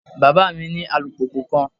Baba mi ni alupupu kan